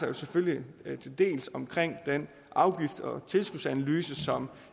er selvfølgelig den afgift og tilskudsanalyse som